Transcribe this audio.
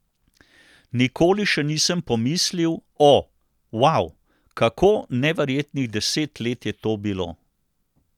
Nikoli še nisem pomislil, o, vau, kako neverjetnih deset let je to bilo!